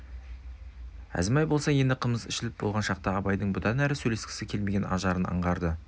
әзімбай болса енді қымыз ішіліп болған шақта абайдың бұдан әрі сөйлескісі келмеген ажарын аңғарды